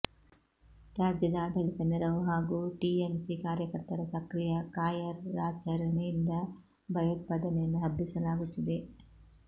ರಾಜ್ಯದ ಆಡಳಿತ ನೆರವು ಹಾಗೂ ಟಿಎಂಸಿ ಕಾರ್ಯಕರ್ತರ ಸಕ್ರಿಯ ಕಾಯರ್ಾಚರಣೆಯಿಂದ ಭಯೋತ್ಪಾದನೆಯನ್ನು ಹಬ್ಬಿಸಲಾಗುತ್ತಿದೆ